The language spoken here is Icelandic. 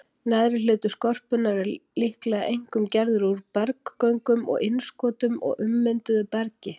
Neðri hluti skorpunnar er líklega einkum gerður úr berggöngum og innskotum og ummynduðu bergi.